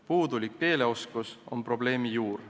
Puudulik keeleoskus on probleemi juur.